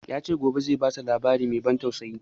Ya ce gobe zai bata labari mai ban tausayi